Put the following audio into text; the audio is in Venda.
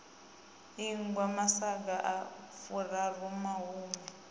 ingwa masaga a furaru mahumi